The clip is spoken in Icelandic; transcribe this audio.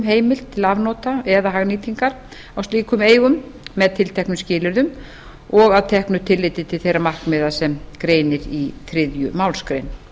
heimild til afnota eða hagnýtingar á slíkum eigum með tilteknum skilyrðum og að teknu tilliti til þeirra markmiða sem greinir í þriðju málsgrein